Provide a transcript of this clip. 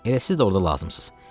Elə siz də orada lazımsınız.